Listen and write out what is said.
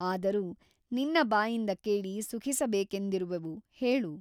ಆದರೂ ನಿನ್ನ ಬಾಯಿಂದ ಕೇಳಿ ಸುಖಿಸಬೇಕೆಂದಿರುವೆವು ಹೇಳು.